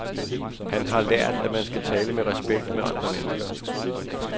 Han har lært, at man skal tale med respekt med andre mennesker.